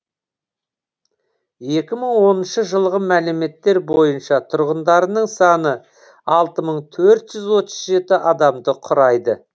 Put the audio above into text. екі мың оныншы жылғы мәліметтер бойынша тұрғындарының саны алты мың төрт жүз отыз жеті адамды құрайды